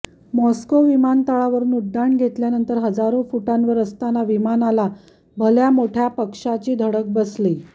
Moscow विमानतळावरून उड्डाण घेतल्यानंतर हजारो फुटांवर असताना विमानाला भल्या मोठ्या पक्षांची धडक बसली